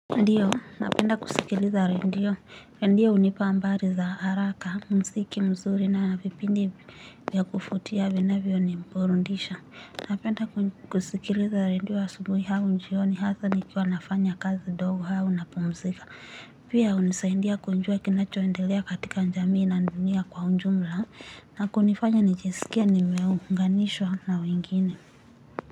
Ndiyo, napenda kusikiliza redio, redio hunipa habari za haraka, muziki mzuri na vipindi vya kuvutia vinavyo ni burudisha. Napenda kusikiliza redio asubuhi au jioni hasa nikiwa nafanya kazi ndogo au napumzika. Pia hunisaidia kujua kinachoendelea katika jamii na dunia kwa ujumla na kunifanya nijisikie nimeunganishwa na wengine.